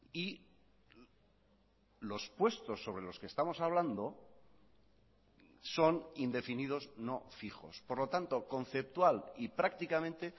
y los puestos sobre los que estamos hablando son indefinidos no fijos por lo tanto conceptual y prácticamente